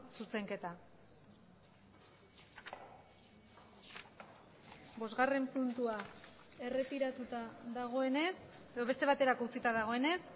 zuzenketa bosgarren puntua erretiratuta dagoenez edo beste baterako utzita dagoenez